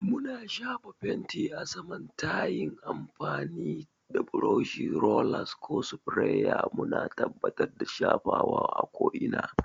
Muna shafa fenti a saman ta yin amfani da burushi, rollers, ko sprayers, muna tabbatar da shafawa a ko'ina.